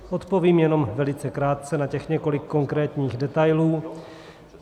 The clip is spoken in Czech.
Odpovím jenom velice krátce na těch několik konkrétních detailů.